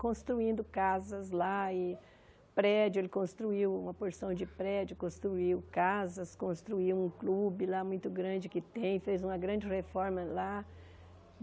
Construindo casas lá e prédio, ele construiu uma porção de prédio, construiu casas, construiu um clube lá muito grande que tem, fez uma grande reforma lá.